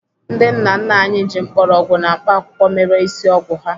Ndị nna nna anyị ji mgbọrọgwụ na mkpaakwụkwọ mere ịsị ọgwụ ha.